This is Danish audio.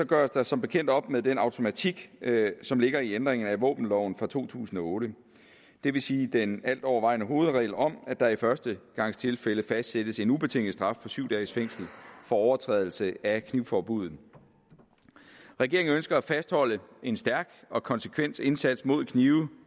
gøres der som bekendt op med den automatik som ligger i ændringen af våbenloven fra to tusind og otte det vil sige den altovervejende hovedregel om at der i førstegangstilfælde fastsættes en ubetinget straf på syv dages fængsel for overtrædelse af knivforbuddet regeringen ønsker at fastholde en stærk og konsekvent indsats mod knive